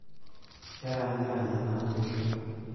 Keranyirany ena oitoi.